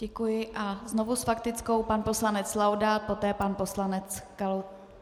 Děkuji a znovu s faktickou pan poslanec Laudát, poté pan poslanec Kalousek.